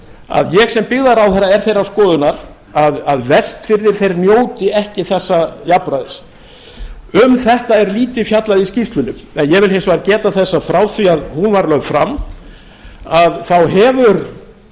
að ég sem byggðaráðherra er þeirrar skoðunar að vestfirðir þeir njóti ekki þessa jafnræðis um þetta er lítið fjallað í skýrslunni en ég vil hins vegar geta þess að frá því að hún var lögð fram þá hefur